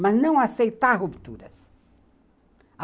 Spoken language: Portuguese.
Mas não aceitar rupturas.